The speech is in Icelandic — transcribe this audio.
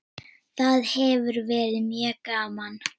Það hefur verið mjög gaman.